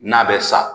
N'a bɛ sa